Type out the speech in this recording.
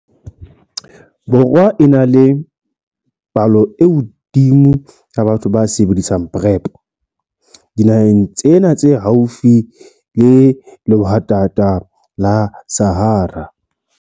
Borwa e na le palo e hodimo ya batho ba sebedisang PrEP dinaheng tsena tse haufi le lehwatata la Sahara.